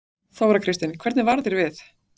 Þóra Kristín: Hvernig varð þér við?